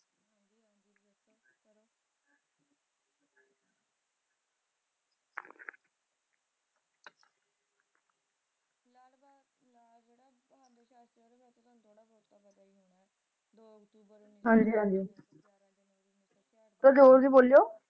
ਹਾਂਜੀ ਹਾਂਜੀ ਥੋੜਾ ਜ਼ੋਰ ਦੀ ਬੋਲੇਓ